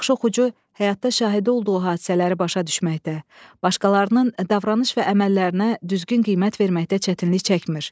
Yaxşı oxucu həyatda şahidi olduğu hadisələri başa düşməkdə, başqalarının davranış və əməllərinə düzgün qiymət verməkdə çətinlik çəkmir.